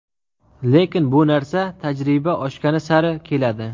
Lekin bu narsa tajriba oshgani sari keladi.